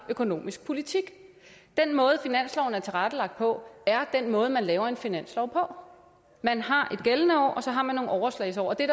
økonomisk politik den måde finansloven er tilrettelagt på er den måde man laver en finanslov man har et gældende år og så har man nogle overslagsår det